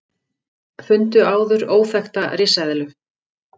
Fundu áður óþekkta risaeðlu